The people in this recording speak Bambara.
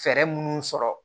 Fɛɛrɛ minnu sɔrɔ